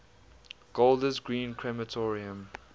golders green crematorium